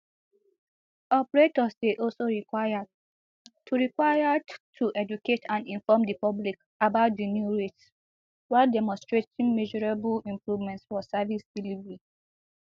operators dey also required to required to educate and inform di public about di new rates while demonstrating measurable improvements for service delivery